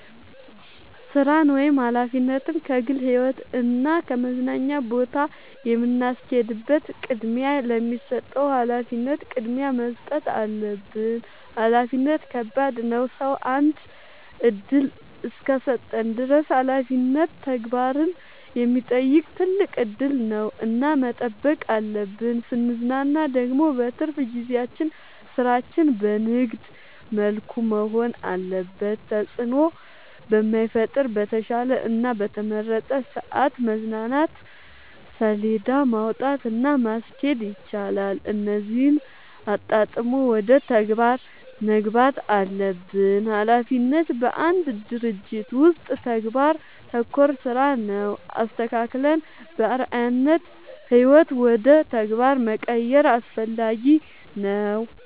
ስራን ወይም ሀላፊነትን ከግል ህይወት እና ከመዝናኛ ጋር የምናስኬድበት ቅድሚያ ለሚሰጠው ሀላፊነት ቅድሚያ መስጠት አለብን። ሀላፊነት ከባድ ነው ሰው አንድ እድል እስከሰጠን ድረስ ሀላፊነት ተግባርን የሚጠይቅ ትልቅ እድል ነው እና መጠበቅ አለብን። ስንዝናና ደግሞ በትርፍ ጊዜያችን ስራችን በንግድ መልኩ መሆን አለበት ተጽዕኖ በማይፈጥር በተሻለ እና በተመረጠ ሰዐት መዝናናት ሴለዳ ማውጣት እና ማስኬድ ይቻላል እነዚህን አጣጥሞ ወደ ተግባር መግባት አለብን። ሀላፊነት በአንድ ድርጅት ውስጥ ተግባር ተኮር ስራ ነው። አስተካክለን በአርዐያነት ህይወት ውደ ተግባር መቀየር አስፈላጊ ነው።